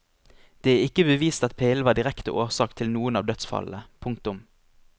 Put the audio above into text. Det er ikke bevist at pillen var direkte årsak til noen av dødsfallene. punktum